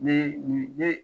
Ne